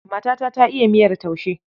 Matata ta iya miyar taushe.